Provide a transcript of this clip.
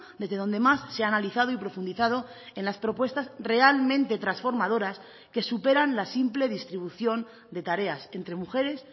desde donde más se ha analizado y profundizado en las propuestas realmente transformadoras que superan la simple distribución de tareas entre mujeres